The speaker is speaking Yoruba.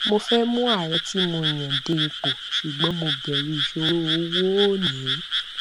mo fẹ mú ààrẹ tí mo yàn dé ipò ṣùgbọn mo bẹrù ìṣòro owó ó ní